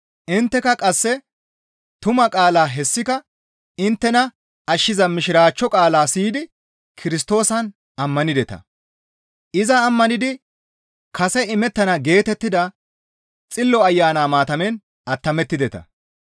Intteka qasse tumaa qaalaa hessika inttena ashshiza Mishiraachcho qaalaa siyidi Kirstoosan ammanideta; iza ammanidi kase imettana geetettida Xillo Ayana maatamen attamettideta.